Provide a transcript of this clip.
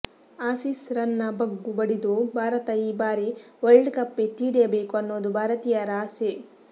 Aussies ರನ್ನ ಬಗ್ಗು ಬಡಿದು ಭಾರತ ಈ ಬಾರಿ ವರ್ಲ್ಡ್ ಕಪ್ ಎತ್ತಿ ಹಿಡಿಯಬೇಕು ಅನ್ನೋದು ಭಾರತೀಯರ ಆಸೆ